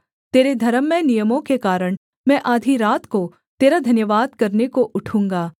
तेरे धर्ममय नियमों के कारण मैं आधी रात को तेरा धन्यवाद करने को उठूँगा